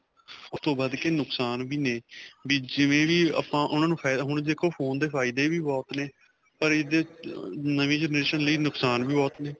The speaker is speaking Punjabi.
ਉਸ ਤੋ ਵੱਧ ਕੇ ਨੁਕਸਾਨ ਵੀ ਨੇ ਵੀ ਜਿਵੇਂ ਵੀ ਆਪਾਂ ਉਨ੍ਹਾਂ ਨੂੰ ਹੁਣ ਦੇਖੋ phone ਦੇ ਫਾਇਦੇ ਵੀ ਬਹੁਤ ਨੇ ਪਰ ਇਹਦੇ ਨਵੀਂ generation ਲਈ ਨੁਕਸਾਨ ਵੀ ਬਹੁਤ ਨੇ.